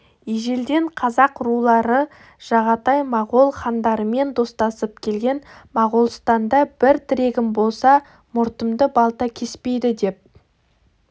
ежелден қазақ рулары жағатай моғол хандарымен достасып келген моғолстанда бір тірегім болса мұртымды балта кеспейді деп